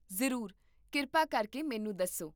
ਜ਼ਰੂਰ, ਕਿਰਪਾ ਕਰਕੇ ਮੈਨੂੰ ਦੱਸੋ